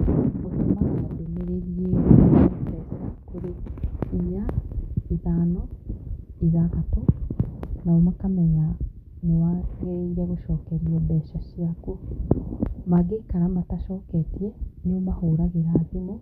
Ũtũmaga ndũmĩrĩri ĩyo kũrĩ inya, ithano, ithathatũ nao makamenya nĩ wa gĩrĩire gũcokerio mbeca ciaku, mangĩikara matacoketie nĩ ũmahũragĩra thimũ